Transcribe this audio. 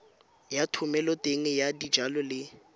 ya thomeloteng ya dijalo le